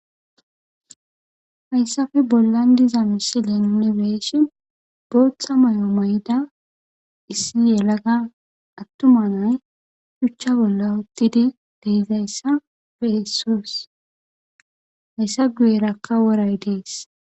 hayssafe bollan diza misilen unibeeshin booththa may7o mayda issi yelaga attuma nay shuchcha bolla uttidi deizayssa behessoos hayssa guy erakka woray dees